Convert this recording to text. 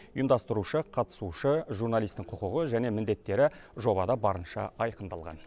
ұйымдастырушы қатысушы журналистің құқығы және міндеттері жобада барынша айқындалған